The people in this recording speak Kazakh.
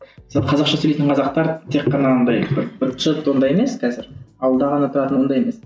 сол қазақша сөйлейтін қазақтар тек қана ондай ондай емес қазір ауылда ғана тұратын ондай емес